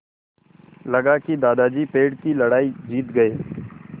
लगा कि दादाजी पेड़ की लड़ाई जीत गए